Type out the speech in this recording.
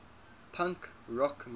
punk rock movement